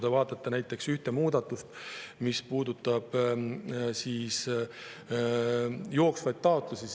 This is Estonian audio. Vaadake näiteks muudatust, mis puudutab jooksvaid taotlusi.